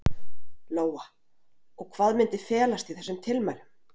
Lóa: Og hvað myndi felast í þessum tilmælum?